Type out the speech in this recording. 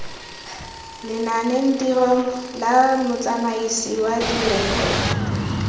lenanetirong la motsamaisi wa direkoto